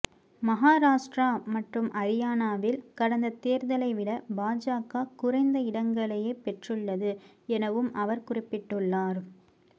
மகாராஷ்டிரா மற்றும் அரியானாவில் கடந்த தேர்தலை விட பாஜக குறைந்த இடங்களையே பெற்றுள்ளது எனவும் அவர் குறிப்பிட்டுள்ளார்